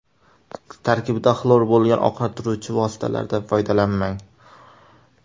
Tarkibida xlor bo‘lgan oqartiruvchi vositalaridan foydalanmang.